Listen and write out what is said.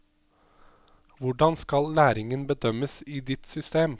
Hvordan skal læringen bedømmes i ditt system?